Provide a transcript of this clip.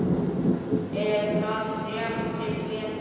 Er það rétt til getið?